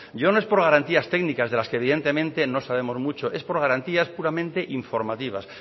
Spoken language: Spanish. yo no es por garantías técnicas de las que evidentemente no sabemos mucho es por garantías puramente informativas